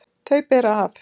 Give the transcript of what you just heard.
Þau bera af.